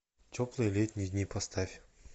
теплые летние дни поставь